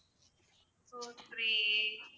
four three eight